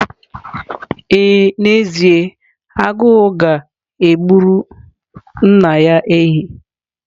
Ee n'ezie, Agu ga-egburu nna ya ehi.